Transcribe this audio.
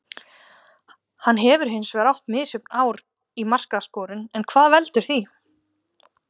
Hann hefur hinsvegar átt misjöfn ár í markaskorun en hvað veldur því?